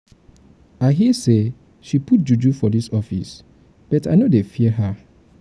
i hear say she put juju for dis office but i no dey um fear her um.